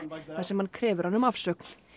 þar sem hann krefur hann um afsögn